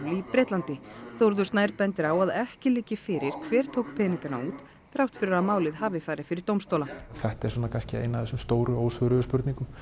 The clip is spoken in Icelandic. í Bretlandi Þórður Snær bendir á að ekki liggi fyrir hver tók þá peninga út þrátt fyrir að málið hafi farið fyrir dómstóla þetta er kannski ein af þessum stóru ósvöruðu spurningum